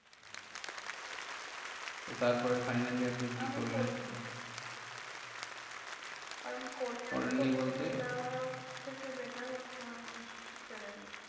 তো তারপরে আপনি finally আপনি কি করলেন? আমি করিনি। কারণ করিনি করেন নি বলতে? থেকে better হচ্ছে আমি ছেড়ে দিয়েছি।